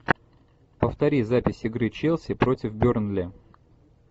повтори запись игры челси против бернли